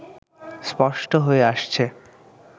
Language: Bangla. স্পষ্ট হয়ে আসছে